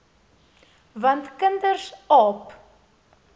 want kinders aap